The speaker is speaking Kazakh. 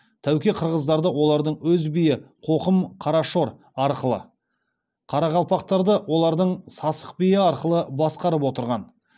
тәуке қырғыздарды олардың өз биі қоқым қарашор арқылы қарақалпақтарды олардың сасық биі арқылы басқарып отырған